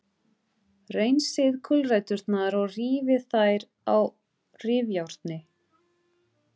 Hreinsið gulræturnar og rífið þær á rifjárni.